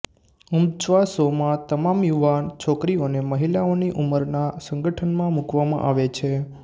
ઉમચ્વાશોમાં તમામ યુવાન છોકરીઓને મહિલાઓની ઉંમરના સંગઠનમાં મુકવામાં આવે છે